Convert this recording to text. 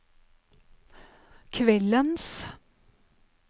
kveldens